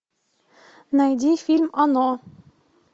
найди фильм оно